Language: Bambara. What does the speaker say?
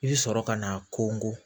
I bɛ sɔrɔ ka na ko nko